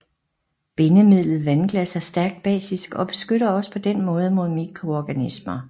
Bindemidlet vandglas er stærkt basisk og beskytter også på denne måde mod mikroorganismer